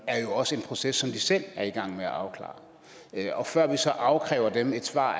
er jo også en proces som de selv er i gang med at afklare og før vi så afkræver dem et svar